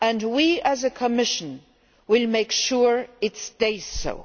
We, as a Commission, will make sure it stays so.